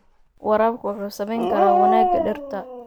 Waraabku wuxuu saameyn karaa wanaagga dhirta.